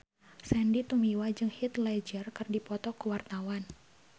Sandy Tumiwa jeung Heath Ledger keur dipoto ku wartawan